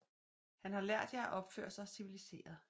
Han har lært jer at opføre sig civiliseret